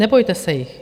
Nebojte se jich.